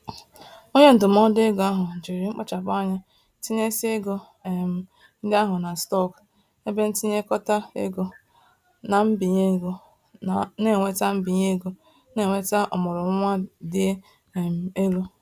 Onye ndụmọdụ ego ahụ jiri mkpachapụ anya tinyésịa ego um ndị ahụ na stock, ebentinyekọta ego, na mbinye ego na-eweta mbinye ego na-eweta ọmụrụnwa dị um elu.